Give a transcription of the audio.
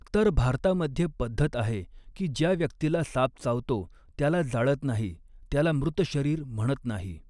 तर भारतामध्ये पद्धत आहे कि ज्या व्यक्तिला साप चावतो त्याला जाळत नाही त्याला मृत शरीर म्हणत ऩाही.